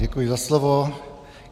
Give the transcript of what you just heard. Děkuji za slovo.